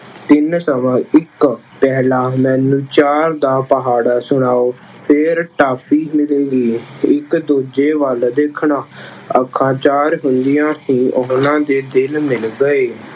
ਤਿੰਨ ਸਵਾ ਇੱਕ ਪਹਲਾਂ ਮੈਨੂੰ ਚਾਰ ਦਾ ਪਹਾੜਾ ਸੁਣਾਉ, ਫੇਰ ਟਾਫੀ ਮਿਲੇਗੀ। ਇੱਕ ਦੂਜੇ ਵੱਲ ਦੇਖਣਾ- ਅੱਖਾਂ ਚਾਰ ਹੁੰਦਿਆਂ ਹੀ ਉਹਨਾ ਦੇ ਦਿਲ ਮਿਲ ਗਏ।